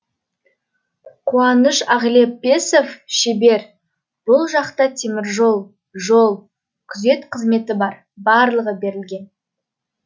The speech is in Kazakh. қуаныш ағлепесов шебер бұл жақта теміржол жол күзет қызметі бар барлығы берілген